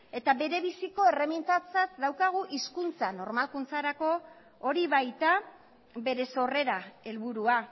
eta bere biziko erremintatzat daukagu hizkuntza normalkuntzarako hori baita bere sorrera helburua